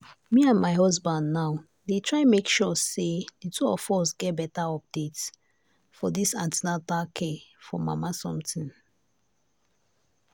me and my husband now dey try make sure say the two of us get better update for this an ten atal care for mama something.